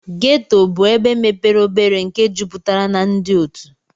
ghetto bu ebe mepere obere nke juputara na ndi otu.